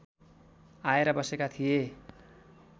आएर बसेका थिए